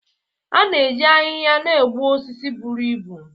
A na-eji ahịhịa na-egbu osisi buru ibu